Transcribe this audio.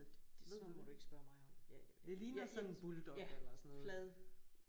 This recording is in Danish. Sådan noget må du ikke spørge mig om